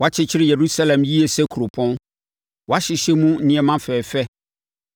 Wɔakyekyere Yerusalem yie sɛ kuropɔn. Wɔahyehyɛ mu nneɛma fɛfɛ.